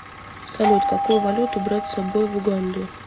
салют какую валюту брать с собой в уганду